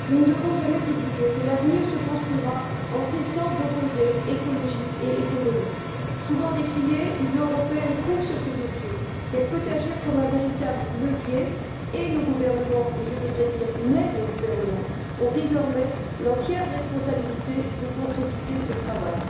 Nous ne devons jamais oublier que l'avenir se construira en cessant d'opposer écologie et économie. Souvent décriée, l'Union européenne prouve sur ce dossier qu'elle peut agir comme un véritable levier, et nos gouvernements et je devrais dire mais nos gouvernements ont désormais l'entière responsabilité de concrétiser ce travail.